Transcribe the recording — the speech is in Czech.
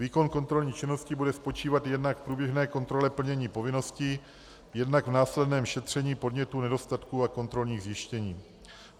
Výkon kontrolní činnosti bude spočívat jednak v průběžné kontrole plnění povinností, jednak v následném šetření podnětů, nedostatků a kontrolních zjištění.